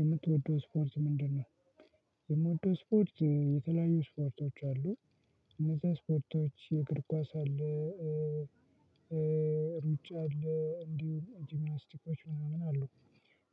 የምትወደው ስፖርት ምንድነው? የምወደው ስፖርት የተለያዩ ስፖርቶች አሉ። እነዛ ስፖርቶች የእግር ኳስ አለ። ሩጫ አለ እንዲሁም ጂማስቲኮች ምናምን አሉ።